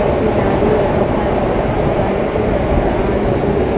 महिलाएं यहां पर मास्क लगाई हुई नजर आ रहीं हैं।